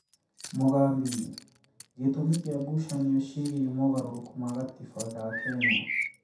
Mogambi: gĩtũmi kĩa ngucanio ciĩgie mogarũrũku ma gatiba ga Kenya